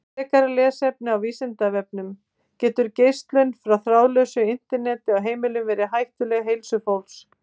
Frekara lesefni á Vísindavefnum: Getur geislun frá þráðlausu Interneti á heimilum verið hættuleg heilsu fólks?